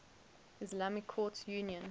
islamic courts union